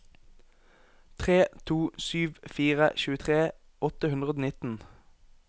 tre to sju fire tjuetre åtte hundre og nitten